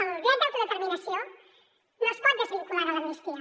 el dret d’autodeterminació no es pot desvincular de l’amnistia